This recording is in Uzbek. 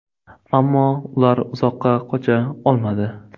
Ammo ular uzoqqa qocha olmadi.